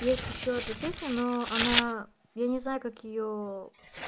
есть ещё одна песня но она я не знаю как её